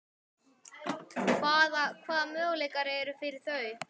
Hvaða, hvaða möguleikar eru fyrir þau?